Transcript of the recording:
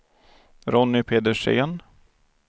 Ronny Pedersen